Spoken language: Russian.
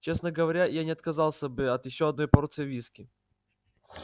честно говоря я не отказался бы от ещё одной порции виски